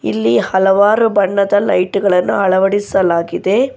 ಇಲ್ಲಿ ಹಲವಾರು ಬಣ್ಣದ ಲೈಟ್ ಗಳನ್ನು ಅಳವಡಿಸಲಾಗಿದೆ.